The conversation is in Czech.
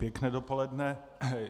Pěkné dopoledne.